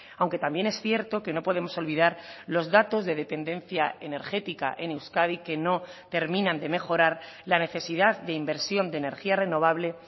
aunque también es cierto que no podemos olvidar los datos de dependencia energética en euskadi que no terminan de mejorar la necesidad de inversión de energía renovable